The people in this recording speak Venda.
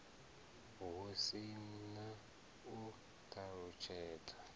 hu si na u ṱalutshedza